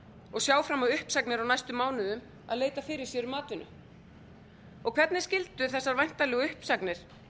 og sjá fram á uppsagnir á næstu mánuðum að leita fyrir sér um atvinnu og hvernig skyldu þessar væntanlegu uppsagnir